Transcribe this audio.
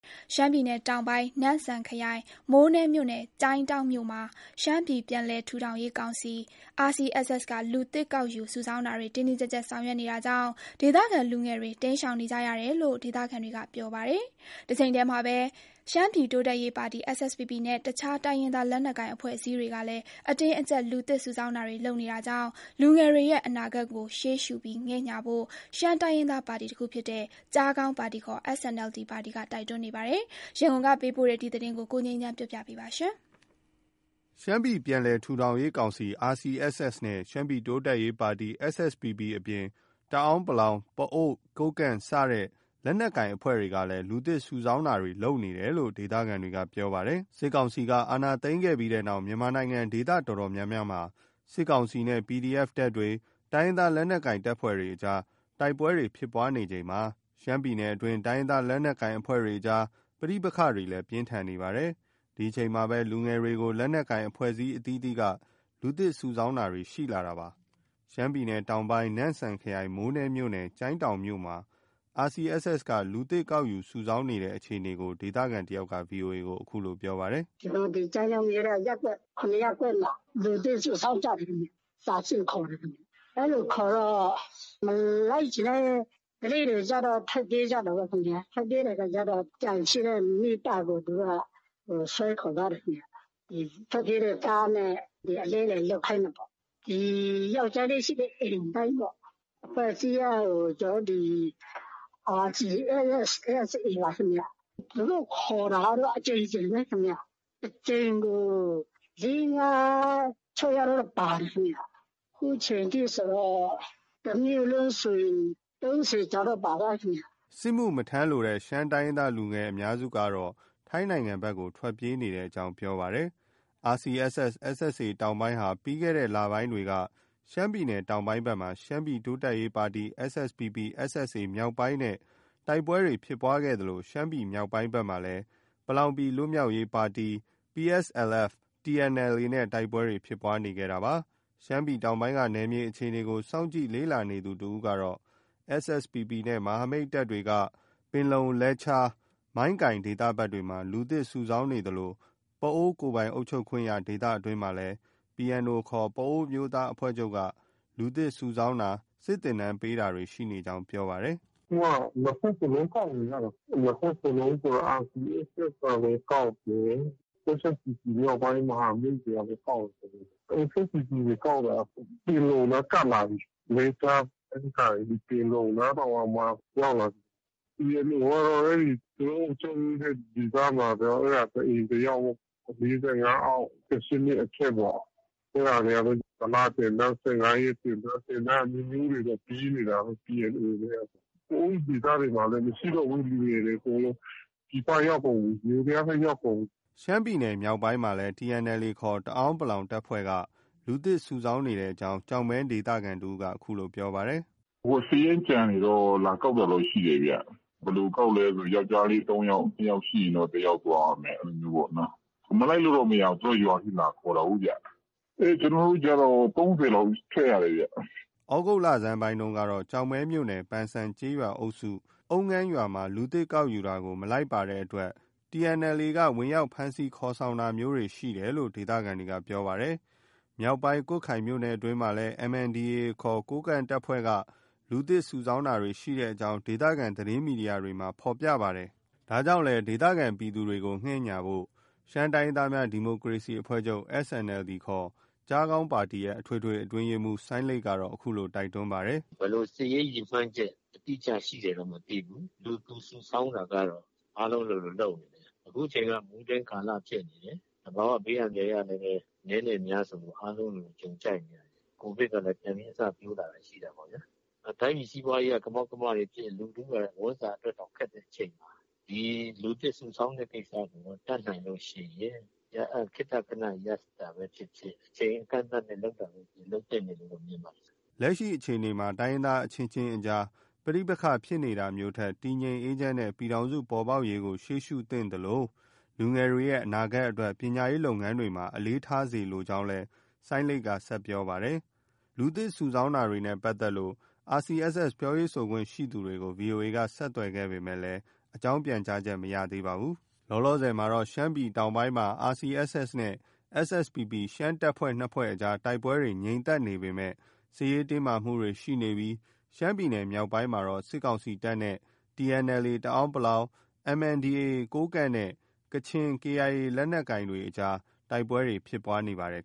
ရှမ်းပြည်နယ်တောင်ပိုင်း နမ့်စန်ခရိုင် မိုးနဲမြို့နယ် ကျိုင်းတောင်းမြို့မှာ ရှမ်းပြည်ပြန်လည်ထူထောင်ရေးကောင်စီ RCSS က လူသစ်ကောက်ယူစုဆောင်းတာတွေ တင်းတင်းကျပ်ကျပ်ဆောင်ရွက်နေတာကြောင့် ဒေသခံလူငယ်တွေ တိမ်းရှောင်နေကြရတယ်လို့ ဒေသခံတွေက ပြောပါတယ်။ တချိန်တည်းမှာ ရှမ်းပြည်တိုးတက်ရေး ပါတီ SSPP နဲ့ တခြား တိုင်းရင်းသား လက်နက်ကိုင်အဖွဲ့အစည်းတွေကလည်း အတင်းအကျပ် လူသစ်စုဆောင်းနေတာကြောင့် လူငယ်တွေရဲ့အနာဂတ်ကို ရှေ့ရှုပြီး ငဲ့ညှာဖို့ ရှမ်းတိုင်းရင်းသားပါတီတခုဖြစ်တဲ့ ကျားခေါင်းပါတီခေါ် SNLD ပါတီက တိုက်တွန်းနေပါတ်ယ။ ရန်ကုန်က ပေးပို့တဲ့ သတင်းကို ကိုငြိမ်းချမ်းက တင်ပြပေးထားပါတယ်။ ရှမ်းပြည်ပြန်လည်ထူထောင်ရေးကောင်စီ RCSS နဲ့ ရှမ်းပြည်တိုးတက်ရေး ပါတီ SSPP အပြင် တအန်း (ပလောင်)၊ ပအိုဝ်း၊ ကိုးကန့် စတဲ့ လက်နက်ကိုင်အဖွဲ့တွေ ကလည်း လူသစ်စုဆောင်းနေတယ်လို့ ဒေသခံတွေက ပြောပါတယ်။ စစ်ကောင်စီက အာဏာသိမ်းခဲ့ပြီးနောက် မြန်မာနိုင်ငံ ဒေသအတော်များများမှာ စစ်ကောင်စီနဲ့ PDF တွေ၊ တိုင်းရင်းသားလက်နက်ကိုင်တွေအကြား တိုက်ပွဲတွေ ဖြစ်ပွားနေချိန်မှာ ရှမ်းပြည်နယ်အတွင်း တိုင်းရင်းသား လက်နက်ကိုင်အဖွဲ့တွေအကြား ပဋိပက္ခတွေလည်း ပိုမိုပြင်းထန်နေပါတ်ယ။ ဒီအချိန်မှာပဲ လူငယ်တွေကို လက်နက်ကိုင် အဖွဲ့အစည်းအသီးသီးက လူသစ်စုဆောင်းတာတွေ ရှိလာတာပါ။ ရှမ်းပြည်နယ်တောင်ပိုင်း နမ့်စန်ခရိုင် မိုးနဲမြို့နယ် ကျိုင်းတောင်းမြို့မှာ RCSS က လူသစ်ကောက်ယူ စုဆောင်းနေတဲ့အခြေအနေကို ဒေသခံတယောက်က VOA ကို အခုလို ပြောပါတယ်။ “ကျိုင်းတောင်မြို့က ရပ်ကွက် ၇ ရပ်ကွက်မှာ လူသစ်စုဆောင်းကြတယ် ခင်ဗျ။ စာဆင့်ခေါ်တယ်ခင်ဗျ။ အဲလိုခေါ်တော့ မလိုက်ချင်တဲ့ ကလေးတွေကျတော့ ထွက်ပြေးကြတာပေါ့။ ထွက်ပြေးတော့ ကျန်ရှိတဲ့မိဘကို သူတို့က ဆွဲခေါ်သွားတယ်ခင်ဗျ။ ထွက်ပြေးတဲ့သားနဲ့ အလဲအလှယ် လုပ်ခိုင်းထားပေါ့။ ဒီ ယောက်ျားလေး ရှိတဲ့ အိမ်တိုင်းပေါ့။ အဖွဲ့အစည်းက ကျနော်တို့ ဒီ RCSS/SSA ပါခင်ဗျ။ သူတို့ ခေါ်တာကတော့ အကြိမ်ကြိမ်ပဲခင်ဗျ။ တကြိမ်ကို ၄- ၅- ၆ ယောက်လောက်ပါတယ်။ ခုချိန်ဆို တမြို့လုံးဆို ၃၀ ကျော်တော့ပါသွားပြီခင်ဗျ။” စစ်မှုမထမ်းလိုတဲ့ ရှမ်းတိုင်းရင်းသား လူငယ်အများစုဟာ ထိုင်းနိုင်ငံဘက်ကို ထွက်ပြေးနေတဲ့ အကြောင်းပြောပါတယ်။ RCSS/SSA တောင်ပိုင်းဟာ ပြီးခဲ့တဲ့လပိုင်းတွေက ရှမ်းပြည်နယ်တောင်ပိုင်းဘက်မှာ ရှမ်းပြည်တိုးတက်ရေးပါတီ SSPP/SSA မြောက်ပိုင်းနဲ့ တိုက်ပွဲဖြစ်ခဲ့သလို ရှမ်းပြည်နယ်မြောက်ပိုင်းဘက်မှာလည်း ပလောင်ပြည် လွတ်မြောက်ရေး ပါတီ PSLF/ TNLA နဲ့ တိုက်ပွဲတွေ ဖြစ်ပွားနေခဲ့တာပါ။ ရှမ်းပြည်တောင်ပိုင်းက နယ်မြေအခြေအနေကို စောင့်ကြည့်လေ့လာနေသူတဦးက SSPP နဲ့ မဟာမိတ်တပ်တွေက ပင်လုံ၊ လဲချား၊ မိုင်းကိုင် ဒေသဘက်တွေမှာ လူသစ်စုဆောင်းနေသလို ပအိုဝ်းကိုယ်ပိုင်အုပ်ချုပ်ခွင့်ရဒေသအတွင်းမှာလည်း PNO ခေါ် ပအိုဝ်းအမျိုးသားအဖွဲ့ချုပ်က လူသစ်စုဆောင်းတာ၊ စစ်သင်တန်းပေးတာတွေ ရှိနေကြောင်း ပြောပါတယ်။ “အခုက နှစ်ဘက်စလုံး ကောက်နေကြတာ။ နှစ်ဘက်စလုံးဆိုတာ RCSS က လည်း ကောက်တယ်။ SSPP မြောက်ပိုင်း မဟာမိတ်တွေကလည်း ကောက်တယ်။ SSPP တွေ ကောက်တာက ပင်လုံနားကပ်လာပြီ။ လဲချား၊ မိုင်းကိုင်၊ ပင်လုံနားတောင်မှ ရောက်လာပြီ။ PNO ကတော့ သူတို့ အုပ်ချုပ်တဲ့ ဒေသမှာ တအိမ်၊ တယောက်ပဲ။ တအိမ် ၃ သောင်းရယ်။ ၄၅ အောက်။ ၁၈ နှစ်အထက်ပေါ့။ အဲဒါတွေကလည်း တလသင်တန်း။ ၁၅ ရက်သင်တန်း၊ သင်တန်းအမျိုးမျိုးတွေတော့ ပေးနေတာပဲ။ PNO တွေက။ ပအိုဝ်းဒေသတွေမှာလည်း မရှိတော့ဘူး လူငယ်တွေ။ အကုန်လုံး ပြည်ပရောက်ကုန်ပြီ။ ယိုးဒယားဘက် ရောက်ကုန်ပြီ။” ရှမ်းပြည်နယ်မြောက်ပိုင်းမှာလည်း TNLA ခေါ် တအန်း(ပလောင်) တပ်ဖွဲ့က လူသစ်စုဆောင်းနေတဲ့အကြောင်း ကျောက်မဲနယ်ခံတဦးက ပြောပါတယ်။ “စာရင်းကျန်တွေတော့ လာကောက်တာတော့ ရှိတယ်ဗျ။ ဘယ်လိုကောက်လဲ ဆိုတော့ ယောက်ကျားလေး ၃ ယောက်။ ၂ ယောက်ရှိရင်တော့ တယောက်သွားရမယ်ပေါ့နော။ မလိုက်လို့တော့ မရဘူး။ သူတို့က ရွာထိ လာခေါ်တာကိုးဗျ။ ကျနော်တို့ကျတော့ ၃၀ လောက် ထွက်ရတယ်ဗျ။” သြဂုတ်လဆန်းပိုင်းကတော့ ကျောက်မဲမြို့နယ် ပန်စံကျေးရွာအုပ်စု အုမ်းငန်းရွာမှာ လူသစ်ကောက်ယူတာကို မလိုက်ပါတဲ့အတွက် TNLA က ဝင်ရောက်ဖမ်းဆီးခေါ်ဆောင်တာမျိုးတွေ ရှိတယ်လို့ ဒေသခံတွေက ပြောပါတယ်။မြောက်ပိုင်း ကွတ်ခိုင်မြို့နယ်အတွင်းမှာလည်း MNDAA ခေါ် ကိုးကန့်တပ်ဖွဲ့က လူသစ်စုဆောင်းတာတွေ ရှိတဲ့အကြောင်း ဒေသခံ သတင်းမီဒီယာတွေမှာ ဖော်ပြပါတယ်။ ဒါကြောင့်လည်း ဒေသခံပြည်သူတွေကို ငဲ့ညှာဖို့ ရှမ်းတိုင်းရင်းသားများ ဒီမိုကရေစီအဖွဲ့ချုပ် SNLD ခေါ် ကျားခေါင်းပါတီရဲ့ အထွေထွေ အတွင်းရေးမှူး စိုင်းလိတ် ကတော့ အခုလို တိုက်တွန်းထားတာပါ။ “ဘယ်လို စစ်ရေးရည်မှန်းချက် အတိအကျရှိတယ်တော့ မသိဘူး။ လူသူစုဆောင်းတာကတော့ အားလုံးလိုလို လုပ်နေတယ်။ အခုချိန်က မိုးတွင်းကာလဖြစ်နေတယ်။ သဘာဝ ဘေးအန္တရာယ်ကလည်းပဲ အနည်းနဲ့အများ ဆိုသလို အားလုံးလိုလို ကြုံကြိုက်နေရတာ။ Covid ကလည်း ပြန်ပြီး အစပျိုးလာတာ ရှိတာပေါ့ဗျာ။ တိုင်းပြည်စီးပွားရေးက ကမောက်ကမတွေဖြစ်၊ လူထုက ဝမ်းစာအတွက်တောင် ခက်တဲ့အချိန်မှာ ဒီလူသစ်စုဆောင်းတဲ့ကိစ္စကို တတ်နိုင်လို့ ရှိရင် ခေတ္တခဏ ရပ်တာပဲ ဖြစ်ဖြစ်။ အချိန်အကန့်အသတ်နဲ့ လုပ်တာပဲဖြစ်ဖြစ် လုပ်သင့်တယ်လို့တော့ မြင်ပါတယ်။” လက်ရှိအခြေအနေမှာ တိုင်းရင်းသားအချင်းချင်းအကြား ပဋိပက္ခဖြစ်နေတာမျိုးထက် တည်ငြိမ်အေးချမ်းတဲ့ ပြည်ထောင်စုပေါ်ပေါက်ရေးကို ရှေ့ရှုသင့်သလို လူငယ် တွေရဲ့ အနာဂတ်အတွက် ပညာရေးလုပ်ငန်းတွေမှာ အလေးထားစေလိုကြောင်းလည်း စိုင်းလိတ်က ဆက်လက်ပြောပါတယ်။ လူသစ်စုဆောင်းတာတွေနဲ့ ပတ်သက်လို့ RSCC ပြောရေးဆိုခွင့်ရှိသူတွေကို VOA က ဆက်သွယ်ခဲ့ပေမယ့် အကြောင်းပြန်ကြားချက် မရသေးပါဘူး။ လောလောဆယ်မှာ ရှမ်းပြည်နယ်တောင်ပိုင်းမှာ RCSS နဲ့ SSPP ရှမ်းတပ်ဖွဲ့ နှစ်ဖွဲ့အကြားမှာ တိုက်ပွဲတွေ ငြိမ်သက်နေပေမယ့် စစ်ရေးတင်းမာမှုတွေရှိနေပြီး ရှမ်းပြည်နယ်မြောက်ပိုင်းမှာတော့ စစ်ကောင်စီတပ်နဲ့ TNLA တအန်း(ပလောင်)၊ MNDAA ကိုးကန့်နဲ့ KIA ကချင် လက်နက်ကိုင်တွေအကြားမှာ တိုက်ပွဲတွေ ဖြစ်ပွားနေပါတယ်